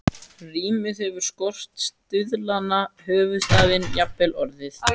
Rímið hefur skort, stuðlana, höfuðstafinn, jafnvel orðin.